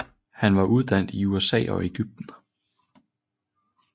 Han var uddannet i USA og Egypten